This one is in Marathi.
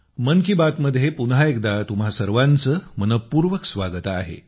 मन कि बात मध्ये पुन्ह एकदा तुम्हा सर्वांचे मनःपूर्वक स्वागत आहे